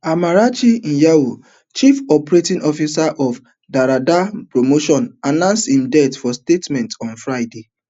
ammarachi anyanwu chief operating officer of derda promotions announce im death for statement on friday